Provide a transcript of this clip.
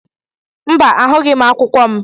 Mba, ahụghị m akwụkwọ m.